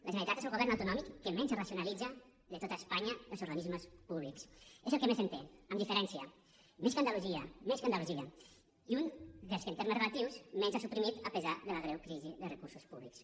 la generalitat és el govern autonòmic que menys racionalitza de tot espanya als organismes públics és el que més en té amb diferència més que andalusia més que andalusia i un dels que en termes relatius menys ha suprimit a pesar de la creu crisi de recursos públics